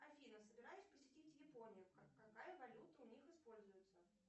афина собираюсь посетить японию какая валюта у них используется